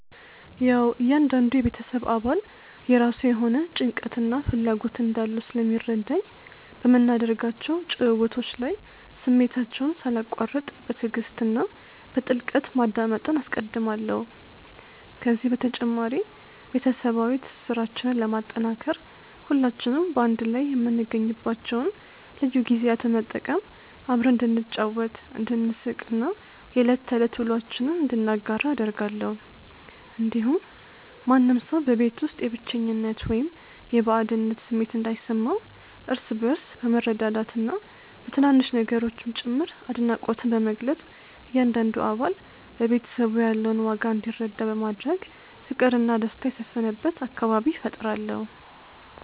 ያዉ እያንዳንዱ የቤተሰብ አባል የራሱ የሆነ ጭንቀትና ፍላጎት እንዳለው ስለሚረዳኝ፣ በምናደርጋቸው ጭውውቶች ላይ ስሜታቸውን ሳላቋርጥ በትዕግስት እና በጥልቀት ማዳመጥን አስቀድማለሁ። ከዚህ በተጨማሪ፣ ቤተሰባዊ ትስስራችንን ለማጠናከር ሁላችንም በአንድ ላይ የምንገኝባቸውን ልዩ ጊዜያት በመጠቀም አብረን እንድንጫወት፣ እንድንሳቅ እና የዕለት ተዕለት ውሎአችንን እንድንጋራ አደርጋለሁ። እንዲሁም ማንም ሰው በቤት ውስጥ የብቸኝነት ወይም የባዕድነት ስሜት እንዳይሰማው፣ እርስ በእርስ በመረዳዳትና በትናንሽ ነገሮችም ጭምር አድናቆትን በመግለጽ እያንዳንዱ አባል ለቤተሰቡ ያለውን ዋጋ እንዲረዳ በማድረግ ፍቅርና ደስታ የሰፈነበት አካባቢ እፈጥራለሁ።